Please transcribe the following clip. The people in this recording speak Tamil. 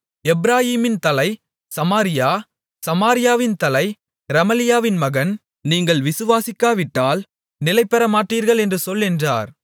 எப்பிராயீமின் தலை சமாரியா சமாரியாவின் தலை ரெமலியாவின் மகன் நீங்கள் விசுவாசிக்காவிட்டால் நிலைபெறமாட்டீர்கள் என்று சொல் என்றார்